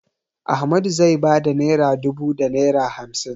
Ahmadu zai ba da naira dubu da naira hamsin.